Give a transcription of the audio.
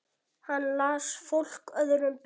Hann las fólk öðrum betur.